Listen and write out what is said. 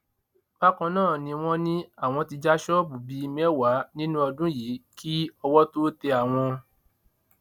bákan náà ni wọn ní àwọn ti já ṣọọbù bíi mẹwàá nínú ọdún yìí kí owó tóo tẹ àwọn